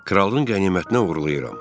Kralın qənimətinə uğurlayıram.